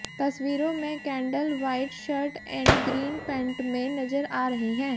तस्वीरों में Kendall white shirt and green pant में नजर आ रही है